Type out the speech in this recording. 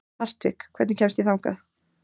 Hartvig, hvernig kemst ég þangað?